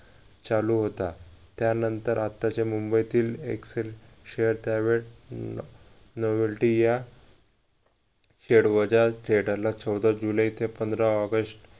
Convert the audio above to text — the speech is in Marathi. चालू होता त्यानंतर आत्ताच्या मुंबईतील एक share त्यावेळ novelty या theater ला चौदा जुलै ते पंधरा ऑगस्ट